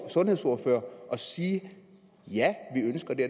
sundhedsordfører at sige ja